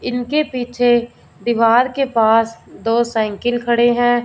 इनके पीछे दीवार के पास दो साइकिल खड़े हैं।